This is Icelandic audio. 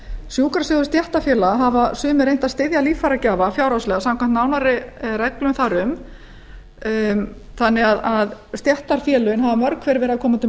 sjúkrasjóðir stéttarfélaga hafa sumir reynt að styðja líffæragjafa fjárhagslega samkvæmt nánari reglum þar um þannig að stéttarfélögin hafa mörg hver verið að